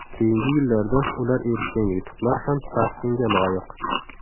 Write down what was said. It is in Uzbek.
Keyingi yillarda ular erishgan yutuqlar ham tahsinga loyiq.